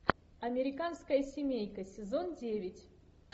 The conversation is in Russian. американская семейка сезон девять